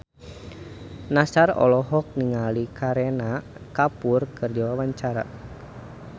Nassar olohok ningali Kareena Kapoor keur diwawancara